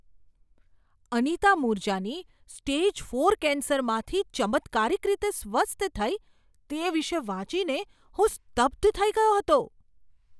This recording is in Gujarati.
અનિતા મૂરજાની સ્ટેજ ફોર કેન્સરમાંથી ચમત્કારિક રીતે સ્વસ્થ થઈ તે વિશે વાંચીને હું સ્તબ્ધ થઈ ગયો હતો.